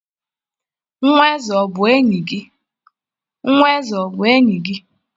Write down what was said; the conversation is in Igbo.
Nwa eze o bu enyi gi?